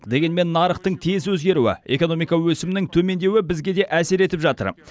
дегенмен нарықтың тез өзгеруі экономика өсімінің төмендеуі бізге де әсер етіп жатыр